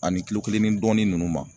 Ani kilo kelen ni dɔɔni ninnu ma